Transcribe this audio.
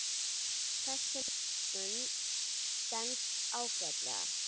Þessi nálgun stenst ágætlega.